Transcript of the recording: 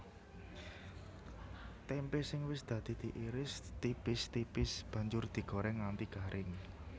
Témpé sing wis dadi diiris tipis tipis banjur digorèng nganti garing